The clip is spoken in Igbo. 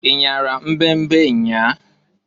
Inyara mbe mbe nnyaa?